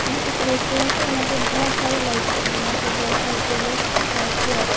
ये एक रेस्टोरेंट है यहा पे बोहोत सारी लाइट्स जल रही है यहा पे बोहोत सारी टेबलस है और चेयर है।